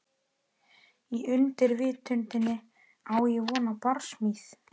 Í undirvitundinni á ég von á barsmíð.